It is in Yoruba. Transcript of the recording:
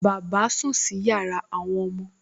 Bàbá sùn sí yàrá àwọn ọmọ